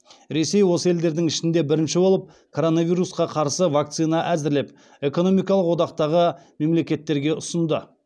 ресей осы елдердің ішінде бірінші болып коронавирусқа қарсы вакцина әзірлеп экономикалық одақтағы мемлекеттерге ұсынды